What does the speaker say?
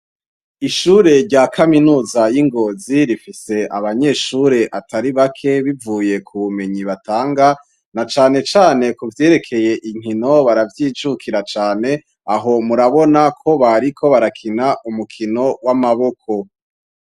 Ishure rya kaminuza y'i Ngozi rifise abanyeshure atari bake bivuye ku bumenyi batanga na cane cane ku vyerekeye inkino baravyijukira cane, aho murabona ko bariko barakina umukino w'amaboko.